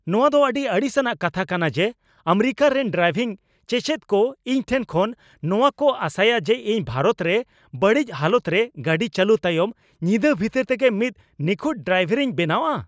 ᱱᱚᱶᱟ ᱫᱚ ᱟᱹᱰᱤ ᱟᱹᱲᱤᱥ ᱟᱱᱟᱜ ᱠᱟᱛᱷᱟ ᱠᱟᱱᱟ ᱡᱮ, ᱟᱢᱮᱨᱤᱠᱟ ᱨᱮᱱ ᱰᱨᱟᱭᱵᱷᱤᱝ ᱪᱮᱪᱮᱫ ᱠᱚ ᱤᱧ ᱴᱷᱮᱱ ᱠᱷᱚᱱ ᱱᱚᱣᱟ ᱠᱚ ᱟᱥᱟᱭᱟ ᱡᱮ ᱤᱧ ᱵᱷᱟᱨᱚᱛ ᱨᱮ ᱵᱟᱹᱲᱤᱡ ᱦᱟᱞᱚᱛᱨᱮ ᱜᱟᱹᱰᱤ ᱪᱟᱹᱞᱩ ᱛᱟᱭᱚᱢ ᱧᱤᱫᱟᱹ ᱵᱷᱤᱛᱟᱹᱨ ᱛᱮᱜᱮ ᱢᱤᱫ ᱱᱤᱠᱷᱩᱴ ᱰᱨᱟᱭᱵᱷᱟᱨᱤᱧ ᱵᱮᱱᱟᱜᱼᱟ ᱾